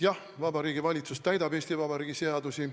Jah, Vabariigi Valitsus täidab Eesti Vabariigi seadusi.